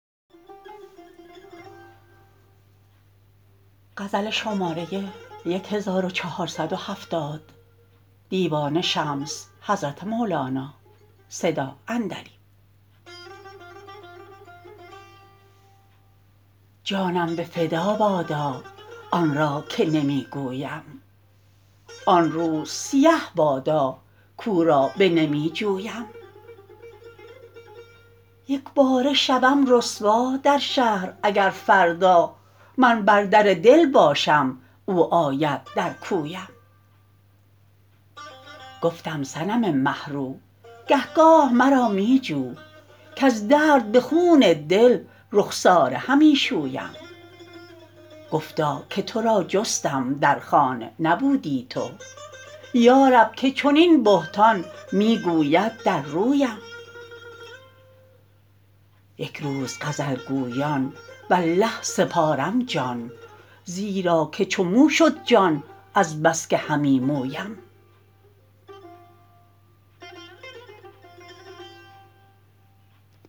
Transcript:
جانم به فدا بادا آن را که نمی گویم آن روز سیه بادا کو را بنمی جویم یک باره شوم رسوا در شهر اگر فردا من بر در دل باشم او آید در کویم گفتم صنم مه رو گه گاه مرا می جو کز درد به خون دل رخساره همی شویم گفتا که تو را جستم در خانه نبودی تو یا رب که چنین بهتان می گوید در رویم یک روز غزل گویان والله سپارم جان زیرا که چو مو شد جان از بس که همی مویم